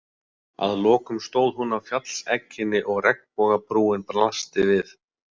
Að lokum stóð hún á fjallsegginni og regnbogabrúin blasti við.